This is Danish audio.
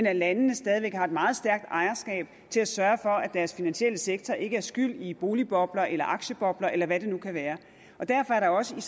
at landene stadig væk har et meget stærk ejerskab til at sørge for at deres finansielle sektor ikke er skyld i boligbobler eller aktiebobler eller hvad det nu kan være derfor er der også i